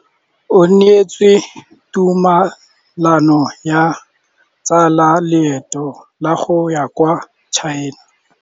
O neetswe tumalanô ya go tsaya loetô la go ya kwa China.